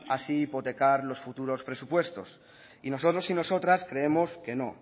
así hipotecar los futuros presupuestos y nosotros y nosotras creemos que no